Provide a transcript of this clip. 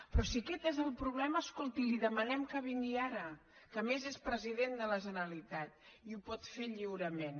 però si aquest és el problema escolti li demanem que vingui ara que a més és president de la generalitat i ho pot fer lliurement